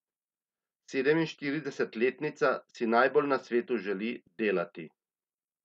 Sedeminštiridesetletnica si najbolj na svetu želi delati.